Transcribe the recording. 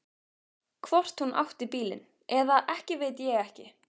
Hvort hún átti bílinn eða ekki veit ég ekki.